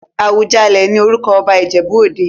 Awùjalẹ̀ ní orúkọ ọba Ìjẹ̀bú-òde.